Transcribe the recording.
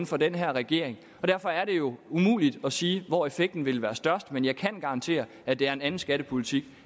fra den her regering og derfor er det jo umuligt at sige hvor effekten ville være størst men jeg kan garantere at det er en anden skattepolitik